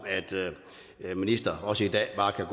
en minister også i dag bare kan